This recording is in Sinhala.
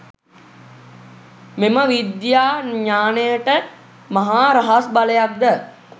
මෙම විද්‍යාඥානයට මහා රහස් බලයක් ද